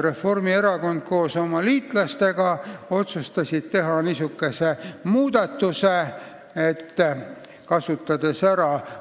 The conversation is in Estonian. Reformierakond koos oma liitlastega otsustas teha niisuguse muudatuse, et